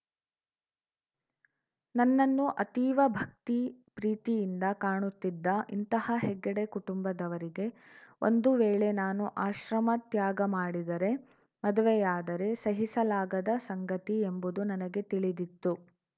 ನನ್ನನ್ನು ಅತೀವ ಭಕ್ತಿಪ್ರೀತಿಯಿಂದ ಕಾಣುತ್ತಿದ್ದ ಇಂತಹ ಹೆಗ್ಡೆ ಕುಟುಂಬದವರಿಗೆ ಒಂದು ವೇಳೆ ನಾನು ಆಶ್ರಮ ತ್ಯಾಗ ಮಾಡಿದರೆ ಮದುವೆಯಾದರೆ ಸಹಿಸಲಾಗದ ಸಂಗತಿ ಎಂಬುದು ನನಗೆ ತಿಳಿದಿತ್ತು